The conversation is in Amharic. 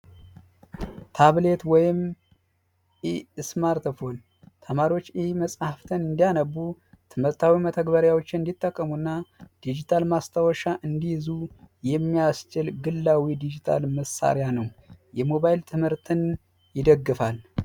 ታብሌት ወይም ስማርት ፎን ተማሪዎች ኢ-መፅሃፍትን እንዲያነቡ ትምህርታዊ መተግበሪያዎችን እንዲጠቀሙ እና ዲጂታል ማስታወሻ የሚያስችል ግላዊ የዲጅታል መሳሪያ ነው። የሞባይል ትምህርትን ይደግፋል።